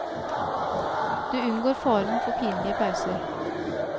Du unngår faren for pinlige pauser.